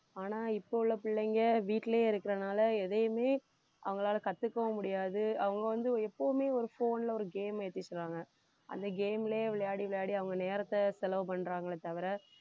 ஆனா இப்ப உள்ள பிள்ளைங்க வீட்டிலேயே இருக்கிறதுனால எதையுமே அவங்களால கத்துக்கவும் முடியாது அவங்க வந்து எப்பவுமே ஒரு phone ல ஒரு game ஏத்திக்கறாங்க அந்த game லயே விளையாடி விளையாடி அவங்க நேரத்தை செலவு பண்றாங்களே தவிர